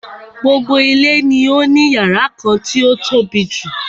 Gbogbo ilé ni ó ní yàrá kan tí o tóbijù.